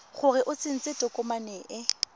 gore o tsentse tokomane e